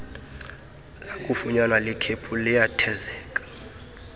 lakufunyanwa likhephu liyathezeka